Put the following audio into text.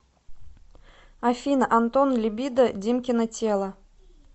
афина антон либидо димкино тело